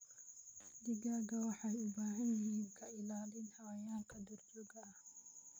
Digaagga waxay u baahan yihiin ka ilaalin xayawaanka duurjoogta ah.